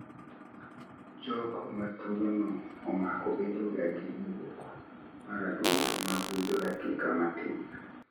Jogo matuo no omako bedo ga gi buok mar adundo mabudho dakika matin